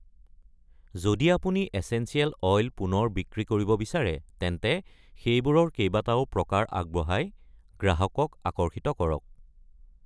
যদি আপুনি essential oil পুনৰ বিক্ৰী কৰিব বিচাৰে তেন্তে সেইবোৰৰ কেইবাটাও প্ৰকাৰ আগবঢ়াই গ্ৰাহকক আকৰ্ষিত কৰক।